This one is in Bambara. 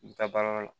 I bɛ taa baarayɔrɔ la